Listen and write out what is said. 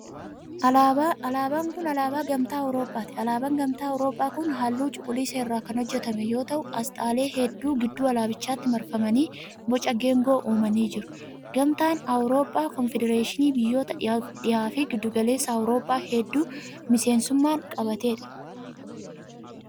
Alaabaan kun, alaabaa Gamtaa Awurooppaati. Alaabaan Gamtaa Awurooppaa kun, haalluu cuquliisa irraa kan hojjatame yoo ta'u. asxaalee hedduun gidduu alaabichaatti marfamanii boca geengoo uumanii jiru. Gamtaan Awurooppaa konfedereeshinii biyyata dhiha fi giddu galeessa Awurooppaa hedduu miseensummaan qabatee dha.